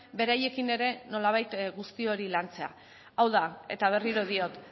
beraiekin ere nolabait guzti hori lantzea hau da eta berriro diot